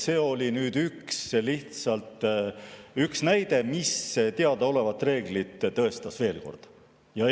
See oli lihtsalt üks näide, mis teadaolevat reeglit veel kord tõestas.